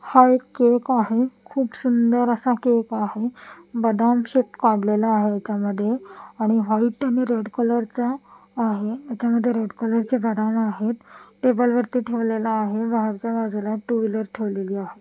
हा एक केक आहे खूप सुंदर असा केक आहे बदाम शेप काढलेला आहे ह्याच्या मध्ये आणि व्हाईट आणि रेड कलरचा आहे याच्यामध्ये रेड कलर ची बदाम आहेत टेबल इथं ठेवलेला आहे बाहेरच्या बाजूला टु व्हीलर ठेवलेली आहे.